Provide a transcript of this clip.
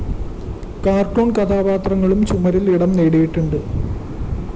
cartoon കഥാപാത്രങ്ങളും ചുമരുകളില്‍ ഇടം നേടിയിട്ടുണ്ട്